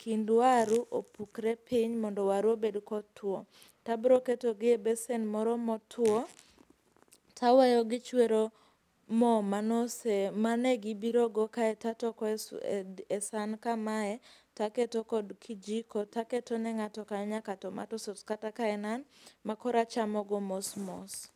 kind waru opukre piny mondo waru obed kotuo. Tabroketogi e besen moro motuo taweyo gichwero moo manose, manegibirogo kae tatoko e san kamae taketo kod kijiko taketone ng'ato ka ng'ato tomato sauce kata ka en an makoro achamogo mosmos.